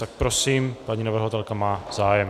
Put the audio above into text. Tak prosím, paní navrhovatelka má zájem.